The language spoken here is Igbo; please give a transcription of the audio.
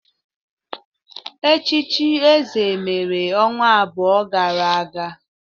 Echichi eze mere ọnwa abụọ gara aga